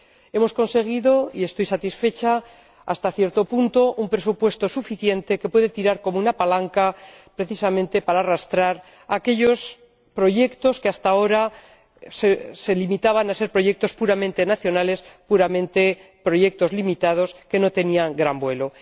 Hemos conseguido —y estoy satisfecha hasta cierto punto— un presupuesto suficiente que puede actuar como una palanca, precisamente para arrastrar aquellos proyectos que hasta ahora se limitaban a ser proyectos puramente nacionales, puramente limitados, que no tenían gran vuelo.